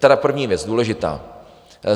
Tedy první věc, důležitá.